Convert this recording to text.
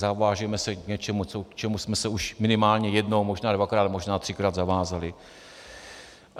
Zavážeme se k něčemu, k čemu jsme se už minimálně jednou, možná dvakrát, možná třikrát zavázali.